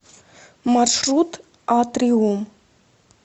маршрут атриум